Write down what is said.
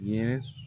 Ye